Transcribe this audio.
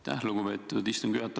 Aitäh, lugupeetud istungi juhataja!